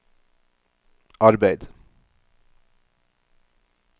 arbeid